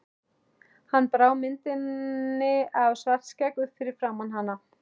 Hann brá myndinni af Svartskegg upp fyrir framan hana.